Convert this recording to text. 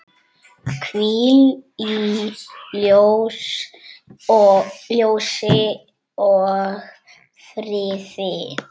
Hvíl í ljósi og friði.